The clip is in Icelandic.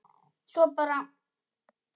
Svo bara.